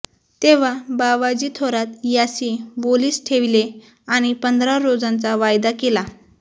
तेव्हा बावाजी थोरात यासी वोलीस ठेविलें आणि पंधरा रोजांचा वायदा केला